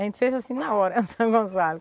A gente fez assim na hora, o São Gonçalo.